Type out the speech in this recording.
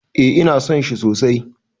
Eh ina son shi sosai